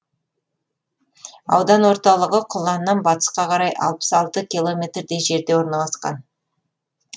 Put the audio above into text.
аудан орталығы құланнан батысқа қарай алпыс алты километрдей жерде орналасқан